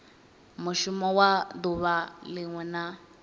mushumo wa duvha linwe na